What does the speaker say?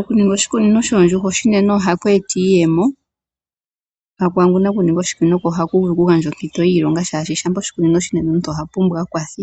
Okuninga oshikunino shoondjuhwa oshinene ohaku eta iiyemo kwaangu aninga oshikunino ko ohaku vulu oku gandjaoompitodhiilonga oshoka shampa oshikuninoshaningi oshineneomuntu oha pumbwa aakwathi.